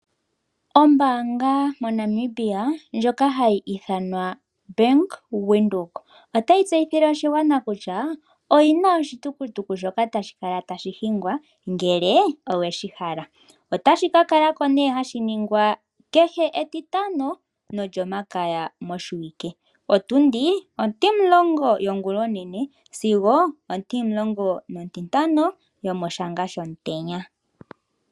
Ombaanga moNamibia ndjoka hayi ithanwa ombaanga yaWindhoek otayi tseyithile oshigwana kutya oyina oshitukutuku shoka tashi kala tashi hingwa ngele oweshi hala. Otashi ka kalako nee hashi ningwa kehe etitano nolyomakaya moshiwike, otundi 10 yongula onene sigo 15 yomoshanga shomutenya.